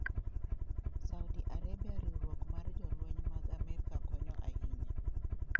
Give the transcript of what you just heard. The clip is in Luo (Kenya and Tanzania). Saudi Arabia riwruok mar jolweny mag Amerka konyo ahinya.